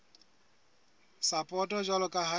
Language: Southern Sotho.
sapoto jwalo ka ha e